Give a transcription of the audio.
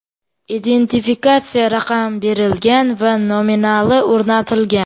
Identifikatsiya raqami berilgan va nominali o‘rnatilgan.